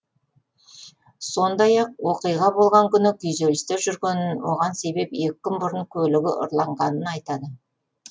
сондай ақ оқиға болған күні күйзелісте жүргенін оған себеп екі күн бұрын көлігі ұрланғанын айтады